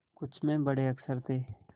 कुछ में बड़े अक्षर थे